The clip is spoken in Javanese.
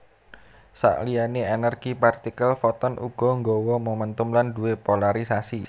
Sakliyane energi partikel foton uga nggawa momentum lan duwé polarisasi